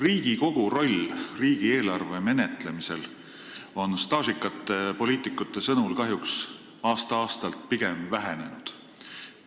Riigikogu roll riigieelarve menetlemisel on staažikate poliitikute sõnul kahjuks aasta-aastalt pigem vähenenud.